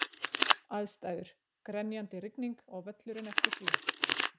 Aðstæður: Grenjandi rigning og völlurinn eftir því.